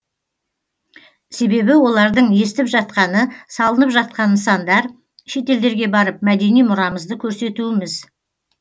себебі олардың естіп жатқаны салынып жатқан нысандар шетелдерге барып мәдени мұрамызды көрсетуіміз